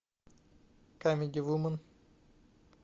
камеди вумен